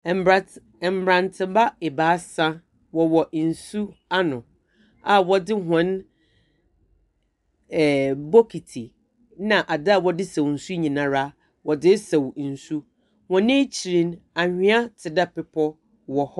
Mberantse… mberantseba ebiasa, wɔwɔ nsu ano a wɔdze hɔn ɛɛɛ bokitsi na adze a wɔdze saw nsu nyinara wɔdze resaw nsu. Hɔn ekyir no, anhwea tse dɛ bepɔw wɔ .